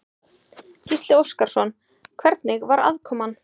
Gísli Óskarsson: Hvernig var aðkoman?